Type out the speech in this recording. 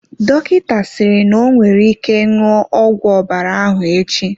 Dọkịta sịrị n'onwere ike ṅụọ ọgwụ ọbara ahụ echi.